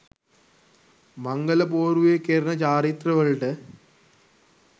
මංගල පෝරුවේ කෙරෙන චාරිත්‍රවලට